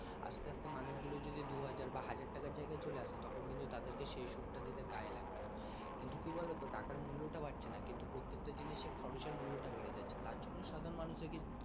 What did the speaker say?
আস্তে আস্তে মানুষগুলো যদি দুহাজার টাকা বা হাজার তাকে চলে আসে তখন কিন্তু তাদেরকে সে সুদ তাদিতে গায়ে লাগবে না কিন্তু কি বলো তো টাকার মূল্যে টা বাড়ছে না কিন্তু প্রত্যেক টা জিনিসের খরচের মূল্য টা বেড়ে চলছে তার জন্য সাধারণ মানুষের কিন্তু